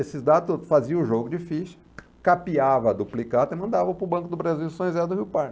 Esses dados faziam jogo de ficha, capiava a duplicata e mandava para o Banco do Brasil em São José do Rio Pardo.